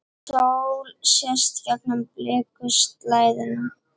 Sól sést gegnum blikuslæðuna.